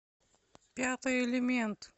пятый элемент